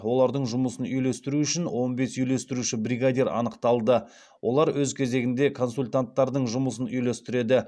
олардың жұмысын үйлестіру үшін он бес үйлестіруші бригадир анықталды олар өз кезегінде консультанттардың жұмысын үйлестіреді